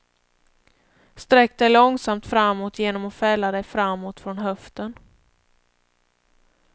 Sträck dig långsamt framåt genom att fälla dig framåt från höften.